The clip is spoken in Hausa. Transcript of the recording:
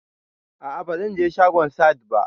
A'a bazan je shagon Sahad ba